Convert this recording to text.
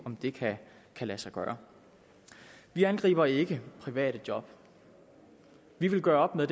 om det kan lade sig gøre vi angriber ikke private job vi vil gøre op med